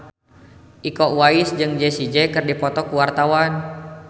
Iko Uwais jeung Jessie J keur dipoto ku wartawan